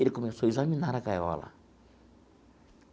Ele começou a examinar a gaiola.